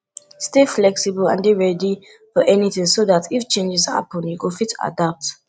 stay flexible and dey ready for anything so dat if changes happen you go fit adapt